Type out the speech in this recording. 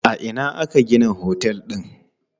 A ina aka gina otel din?